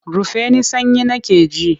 Rufe ni sanyi nake ji!